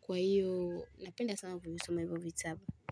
Kwa hiyo napenda sana kusoma hivyo vitabu.